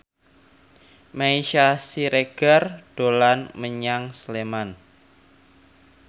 Meisya Siregar dolan menyang Sleman